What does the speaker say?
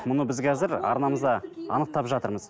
мұны біз қазір арнамызда анықтап жатырмыз